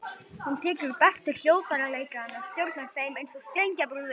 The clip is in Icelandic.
Hún tekur bestu hljóðfæraleikarana og stjórnar þeim eins og strengjabrúðum.